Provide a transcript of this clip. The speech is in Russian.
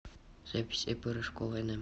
запись ип рыжкова нм